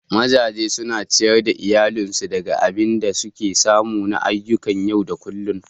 Mazaje suna ciyar da iyalinsu daga abin da suke samu na ayyukan yau da kullum.